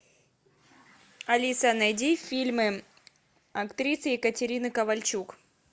алиса найди фильмы актрисы екатерины ковальчук